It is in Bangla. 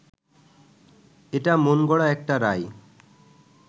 এটা মনগড়া একটা রায়